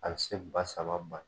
A bɛ se ba saba ba